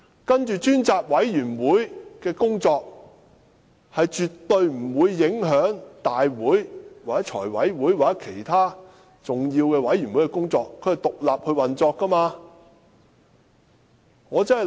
接下來，專責委員會因為運作獨立，絕對不會影響大會、財務委員會或其他重要委員會的工作。